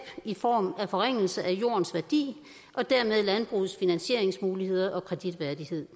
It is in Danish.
i form af forringelse af jordens værdi og dermed landbrugets finansieringsmuligheder og kreditværdighed